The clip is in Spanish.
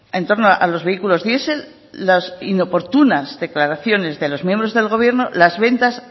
en torno a los vehículos diesel las inoportunas declaraciones de los miembros del gobierno las ventas